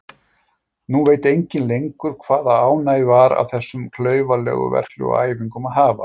Nú veit enginn lengur hvaða ánægju var af þessum klaufalegu verklegu æfingum að hafa.